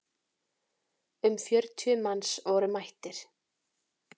Um fjörutíu manns voru mættir.